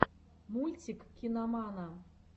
мультик киномана